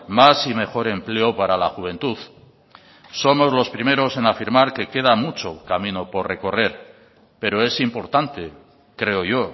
más y mejor empleo para la juventud somos los primeros en afirmar que queda mucho camino por recorrer pero es importante creo yo